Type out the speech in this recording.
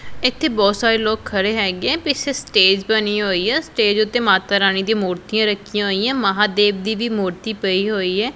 ਇੱਥੇ ਬਹੁਤ ਸਾਰੇ ਲੋਕ ਖੜੇ ਹੈਗੇ ਪੀਛੇ ਸਟੇਜ ਬਣੀ ਹੋਈ ਐ ਸਟੇਜ ਉਤੇ ਮਾਤਾ ਰਾਣੀ ਦੀ ਮੂਰਤੀਆਂ ਰੱਖੀਆਂ ਹੋਈਐਂ ਮਹਾਦੇਵ ਦੀ ਵੀ ਮੂਰਤੀ ਪਈ ਹੋਈ ਐ।